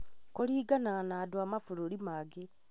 Kũringanaga na andũ a mabũrũri mangĩ